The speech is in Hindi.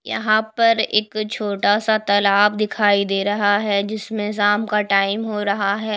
यहां पर एक छोटा सा तालाब दिखाई दे रहा है जिसमें शाम का टाइम हो रहा है।